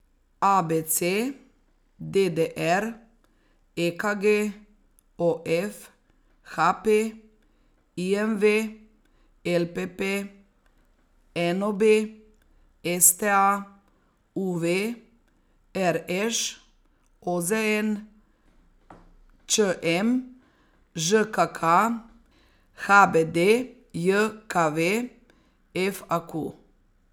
A B C; D D R; E K G; O F; H P; I M V; L P P; N O B; S T A; U V; R Š; O Z N; Č M; Ž K K; H B D J K V; F A Q.